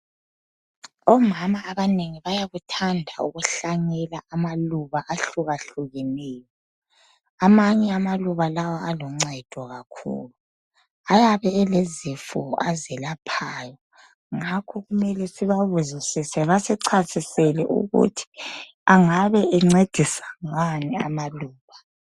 Omama abanengi bayakuthanda ukuhlanyela amaluba ahlukahlukeneyo. Amanye amaluba lawa aluncedo kakhulu. Ayabe elezifo azelaphayo ngakho kumele sibabuzisise basichasisele ukuthi angabe encedisa ngani amaluba.